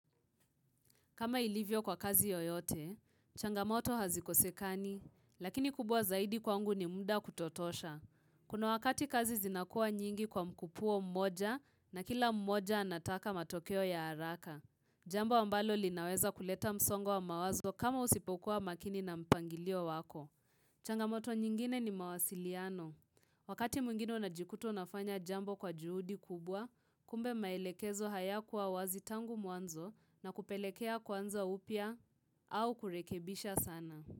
Kama ilivyo kwa kazi yoyote, changamoto hazikosekani, lakini kubwa zaidi kwangu ni muda kutotosha. Kuna wakati kazi zinakua nyingi kwa mkupuo mmoja na kila mmoja anataka matokeo ya haraka. Jambo ambalo linaweza kuleta msongo mawazo kama usipokuwa makini na mpangilio wako. Changamoto nyingine ni mawasiliano. Wakati mwingine unajikuta unafanya jambo kwa juhudi kubwa, kumbe maelekezo hayakuwa wazi tangu muanzo na kupelekea kwanza upya au kurekebisha sana.